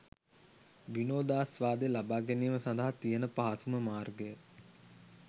විනෝදාස්වාදය ලබාගැනීම සඳහා තියෙන පහසුම මාර්ගය